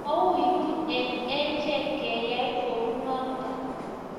mawiitu eng achek keyay kunoto